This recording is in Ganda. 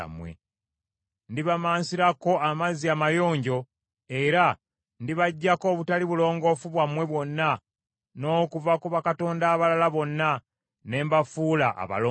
Ndibamaansirako amazzi amayonjo, era ndibaggyako obutali bulongoofu bwammwe bwonna n’okuva ku bakatonda abalala bonna, ne mbafuula abalongoofu.